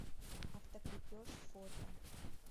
автокрепеж фото